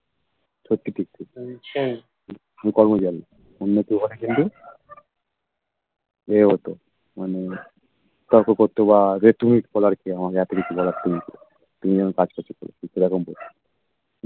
সত্যি টিকটিক সেতো আমি জানি অন্য কেউ হলে কিন্তু ইয়ে হতো মানে তর্ক করতো বা যে তুমি বলার কে আমাকে এত কিছু বলার তুমি কে তুমি যেমন কাজ করছো করো